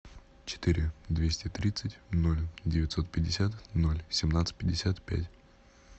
четыре двести тридцать ноль девятьсот пятьдесят ноль семнадцать пятьдесят пять